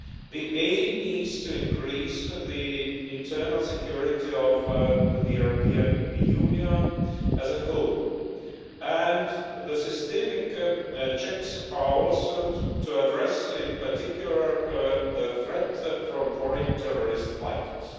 The aim is to increase the internal security of the European Union as a whole, and the systemic checks are also to address in particular the threat from foreign terrorist fighters.